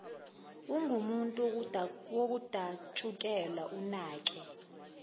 ungumuntu wokudatshukelwa unakwe